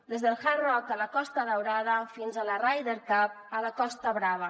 des del hard rock a la costa daurada fins a la ryder cup a la costa brava